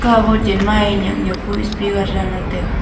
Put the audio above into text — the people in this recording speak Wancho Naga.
kawo chenma ee nyak nyak pa speaker danla taiga.